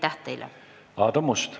Aadu Must.